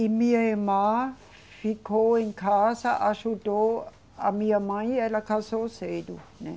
E minha irmã ficou em casa, ajudou a minha mãe e ela casou cedo, né?